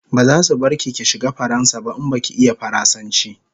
Bazasu bar ki ki shiga faransa ba in baki iya faransanchi